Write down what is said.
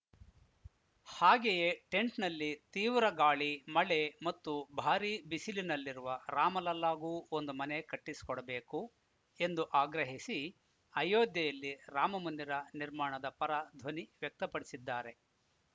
ಹಾಗೆಯೇ ಟೆಂಟ್‌ನಲ್ಲಿ ತೀವ್ರ ಗಾಳಿ ಮಳೆ ಮತ್ತು ಭಾರೀ ಬಿಸಿಲಿನಲ್ಲಿರುವ ರಾಮಲಲ್ಲಾಗೂ ಒಂದು ಮನೆ ಕಟ್ಟಿಸಿಕೊಡಬೇಕು ಎಂದು ಆಗ್ರಹಿಸಿ ಅಯೋಧ್ಯೆಯಲ್ಲಿ ರಾಮ ಮಂದಿರ ನಿರ್ಮಾಣದ ಪರ ಧ್ವನಿ ವ್ಯಕ್ತಪಡಿಸಿದ್ದಾರೆ